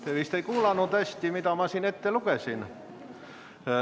Te vist ei kuulanud hästi, mida ma ette lugesin.